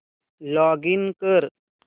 login कर